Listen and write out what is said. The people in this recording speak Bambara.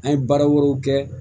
An ye baara wɛrɛw kɛ